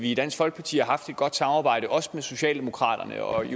i dansk folkeparti haft et godt samarbejde også med socialdemokraterne og